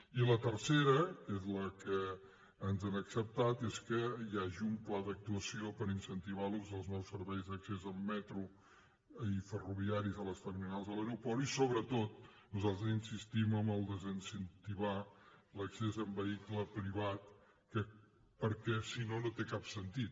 i la tercera que és la que ens han acceptat és que hi hagi un pla d’actuació per incentivar l’ús dels nous serveis d’accés amb metro i ferroviaris a les terminals de l’aeroport i sobretot nosaltres insistim en el fet de desincentivar l’accés amb vehicle privat perquè si no no té cap sentit